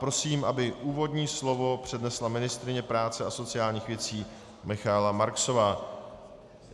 Prosím, aby úvodní slovo přednesla ministryně práce a sociálních věcí Michaela Marksová.